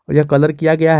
यह कलर किया गया है।